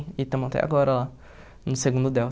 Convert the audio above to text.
E estamos até agora lá, no segundo Delta.